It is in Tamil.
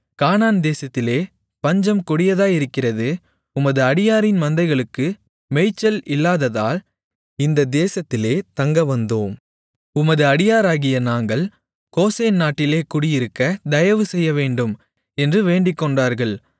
கானான் தேசத்திலே பஞ்சம் கொடிதாயிருக்கிறது உமது அடியாரின் மந்தைகளுக்கு மேய்ச்சல் இல்லாததால் இந்த தேசத்திலே தங்கவந்தோம் உமது அடியாராகிய நாங்கள் கோசேன் நாட்டிலே குடியிருக்க தயவுசெய்யவேண்டும் என்று வேண்டிக்கொண்டார்கள்